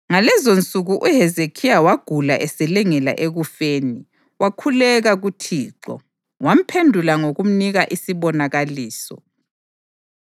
Ngalezonsuku uHezekhiya wagula eselengela ekufeni. Wakhuleka kuThixo, wamphendula ngokumnika isibonakaliso.